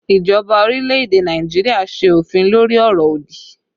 Ìjọba orílẹ̀ èdè Nàìjíríà ṣe òfin lórí ọ̀rọ̀ òdì